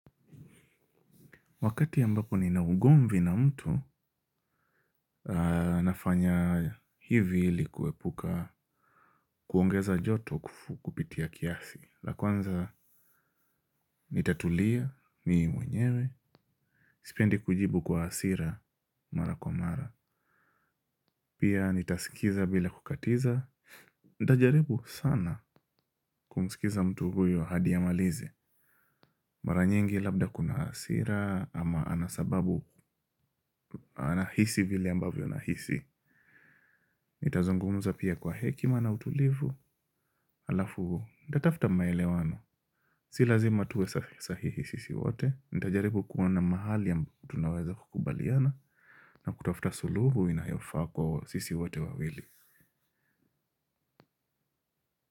Wakati ambapo ni na ugomvi na mtu, nafanya hivi ilikue puka kuongeza joto kupitia kiasi. La kwanza nitatulia mii mwenyewe, sipendi kujibu kwa hasira mara kwa mara. Pia nitaskiza bila kukatiza. Nitajaribu sana kumskiza mtu huyo hadiamalize. Maranyingi labda kuna hasira ama anasababu anahisi vile ambavyo anahisi. Nitazungumza pia kwa hekima na utulivu. Alafu huu, nitatafuta maele wano. Si lazima tuwe sahihi sisi wote. Nitajaribu kuona mahali tunaweza kukubaliana. Na kutafuta suluhu inayofaa kwa sisi wote wawili.